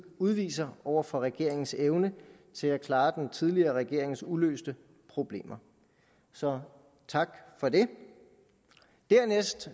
udviser over for regeringens evne til at klare den tidligere regerings uløste problemer så tak for det dernæst